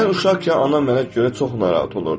Mən uşaqkən anam mənə görə çox narahat olurdu.